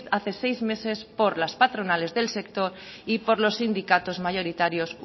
hace seis meses por las patronales del sector y por los sindicatos mayoritarios